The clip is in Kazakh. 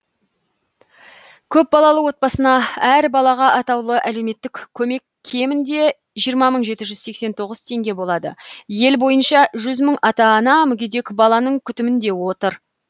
көпбалалы отбасына әр балаға атаулы әлеуметтік көмек кемінде жиырма мың жеті жүз сексен тоғыз теңге болады ел бойынша жүз мың ата ана мүгедек баланың күтімінде отыр